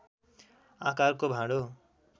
आकारको भाँडो